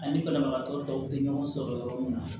Ani banabagatɔ dɔw tɛ ɲɔgɔn sɔrɔ yɔrɔ min na